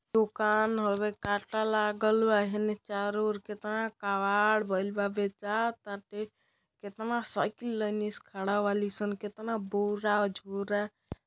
उकान हवे कांटा लागल बा हेने चारो ओर केतना कबाड़ भईल बा बेचा ताटे केतना साइकिल लइनी से खड़ा वाली सन केतना बोर झोर --